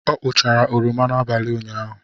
Ọ kpụchara oroma abalị ụnyaahụ.